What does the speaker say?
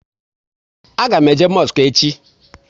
A ga m eje mosku echi